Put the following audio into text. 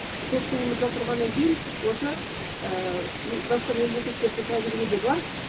көк туымызда тұрғаннан кейін осы басқа мемлекеттердің тәжірибеде бар